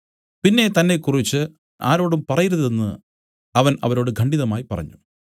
പിന്നെ തന്നെക്കുറിച്ച് ആരോടും പറയരുതെന്ന് അവൻ അവരോട് ഖണ്ഡിതമായി പറഞ്ഞു